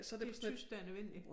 Det er tysk der er nødvendigt